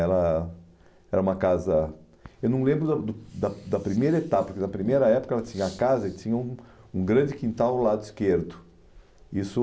Ela era uma casa... Eu não lembro da do da da primeira etapa, da primeira época a casa tinha um grande quintal ao lado esquerdo Isso